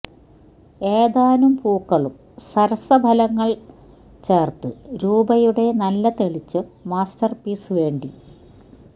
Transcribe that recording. ഏതാനും പൂക്കളും സരസഫലങ്ങൾ ചേർത്ത് രൂപയുടെ നല്ല തെളിച്ചം മാസ്റ്റർപീസ് വേണ്ടി